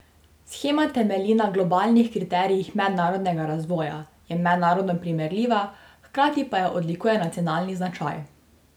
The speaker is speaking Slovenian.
Shema temelji na globalnih kriterijih mednarodnega razvoja, je mednarodno primerljiva, hkrati pa jo odlikuje nacionalni značaj.